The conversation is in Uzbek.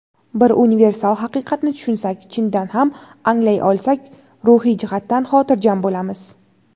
bir universal haqiqatni tushunsak (chindan ham anglay olsak) ruhiy jihatdan xotirjam bo‘lamiz:.